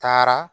Taara